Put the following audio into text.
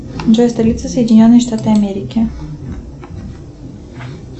джой столица соединенные штаты америки